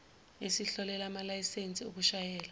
esihlolela amalayisensi okushayela